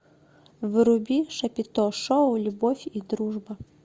вруби шапито шоу любовь и дружба